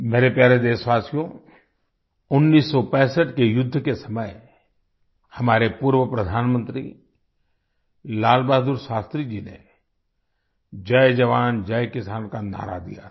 मेरे प्यारे देशवासियो 1965 के युद्ध के समय हमारे पूर्व प्रधानमंत्री लाल बहादुर शास्त्री जी ने जय जवान जय किसान का नारा दिया था